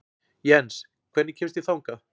Jens, hvernig kemst ég þangað?